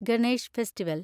Ganesh festival